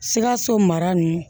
Sikaso mara ninnu